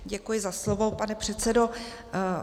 Děkuji za slovo, pane předsedo.